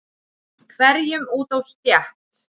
hverjum út á stétt.